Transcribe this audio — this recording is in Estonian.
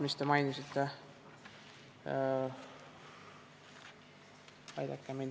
Aidake mind!